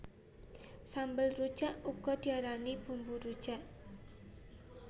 Sambel rujak uga diarani bumbu rujak